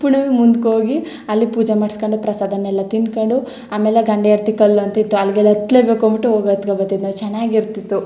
ಪುಳಿವ್ ಮುಂದಕ್ ಹೋಗಿ ಅಲ್ಲಿ ಪೂಜೆ ಮಾಡ್ಸಕೊಂಡು ಪ್ರಸಾದನೆಲ್ಲಾ ತಿನ್ನಕೊಂಡ್ ಆಮೇಲೆ ಗಂಡ ಹೆಂಡತಿ ಕಲ್ಲ್ ಅಂತ ಇತ್ತು ಅಲ್ಲಗೆಲ್ಲಾ ಹತ್ತಲೇ ಬೇಕು ಅನ್ನಬಿಟ್ಟು ಹೊಗಿ ಹತ್ತಕೋ ಬತ್ತಿದ್ ಓ ಚನ್ನಾಗಿರತ್ತಿತು .